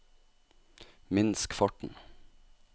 minsk farten